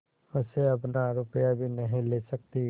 मुझसे अपना रुपया भी नहीं ले सकती